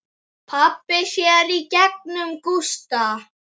Pabbi sér í gegnum Gústa.